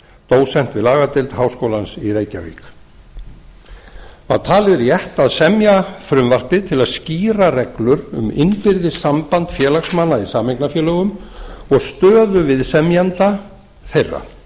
dósent við lagadeild háskólans í reykjavík það var talið rétt að semja frumvarpið til að skýra reglur um innbyrðis samband félagsmanna í sameignarfélögum og stöðu viðsemjenda þeirra